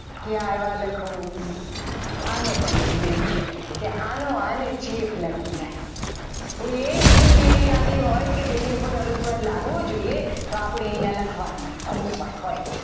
કે આવ્યા લખું આનો પણ એક નિયમ છે કે આનો અને ચેપ લાગી જાય કોઈ એક લિંક એવી આવી હોય કે એની ઉપર અનુસ્વાર લાગવો જોઈએ તો આપણે અહીંયા લખવાનું કે અનુસર હોય.